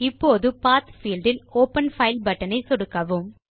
இப்போது path field இல் open file button ஐ அழுத்தவும்